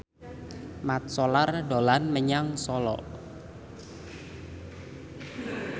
Mat Solar dolan menyang Solo